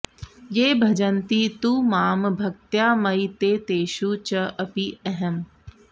ये भजन्ति तु मां भक्त्या मयि ते तेषु च अपि अहम्